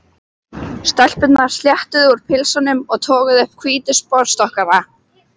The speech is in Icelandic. Stelpurnar sléttuðu úr pilsunum og toguðu upp hvítu sportsokkana.